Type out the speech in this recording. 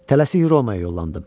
Tələsik Romaya yollandım.